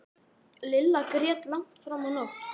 Lilla grét langt fram á nótt.